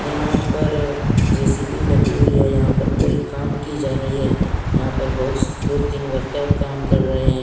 यहां पर जे_सी_बी लगी हुई है यहां पर कोई काम की जा रही है यहां पर बहुत दो तीन वर्कर काम कर रहे हैं।